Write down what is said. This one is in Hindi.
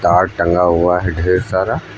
तार टंगा हुआ है ढेर सारा--